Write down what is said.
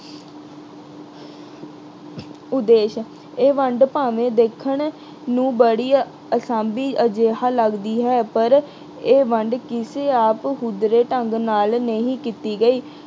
ਉਦੇਸ਼ ਇਹ ਵੰਡ ਭਾਵੇਂ ਦੇਖਣ ਨੂੰ ਬੜੀ ਅਸਾਂਭੀ ਅਜਿਹਾ ਲੱਗਦੀ ਹੈ ਪਰ ਇਹ ਵੰਡ ਕਿਸੇ ਆਪਹੁਦਰੇ ਢੰਗ ਨਾਲ ਨਹੀਂ ਕੀਤੀ ਗਈ।